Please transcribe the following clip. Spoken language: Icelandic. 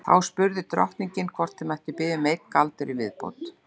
Þá spurði drottningin hvort þau mættu biðja um einn galdur í viðbót.